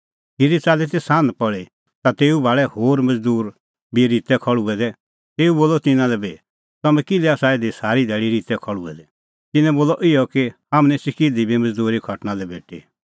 खिरी च़ाल्ली ती सान्ह पल़ी ता तेऊ भाल़ै होर मज़दूर बी रित्तै खल़्हुऐ दै तेऊ बोलअ तिन्नां लै बी तम्हैं किल्है आसा इधी सारी धैल़ी रित्तै खल़्हुऐ दै तिन्नैं बोलअ इहअ कि हाम्हां निस्सी किधी बी मज़दूरी खटणा लै भेटी